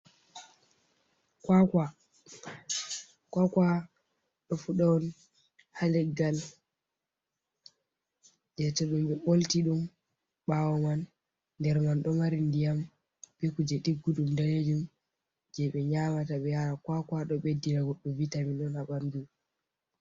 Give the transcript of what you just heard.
Kwakwa ɗo fuɗa ha leggal je to ɗum ɓe bolti ɗum ɓawo man nder man ɗo mari ndiyam bekkuje diggudum dalnejum je ɓe nyamata ɓe yara, kwakwa do beddina goddu vi tamin on ha ɓandu.